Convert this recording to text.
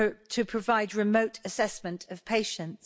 to provide remote assessment of patients.